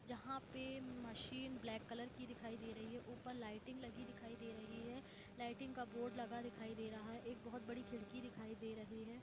यहा पे machine black की दिखाई दे रही है ऊपर लाइटइंग लगी दिखाई दे रही है लाइटइंग का बोर्ड लगा दिखाई दे रहा है एक बहुत बड़ी खिड़की दिखाई दे रही है।